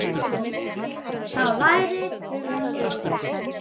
Sá lærir sem lifir.